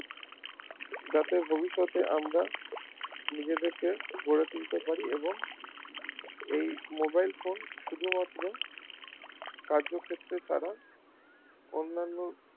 যাতে ভবিষ্যতে আমরা নিজেদের কে গড়ে তুলতে পারি এবং এই mobilephone শুধুমাত্র কার্য ক্ষেত্রে ছাড়া অন্যান যাতে ভবিষ্যতে আমরা নিজেদের কে গড়ে তুলতে পারি এবং এই mobile phone শুধুমাত্র কার্য ক্ষেত্রে ছাড়া অন্যান্য